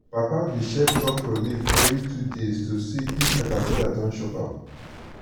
papa dey check okra leaf every two days to see if caterpillar don chop am.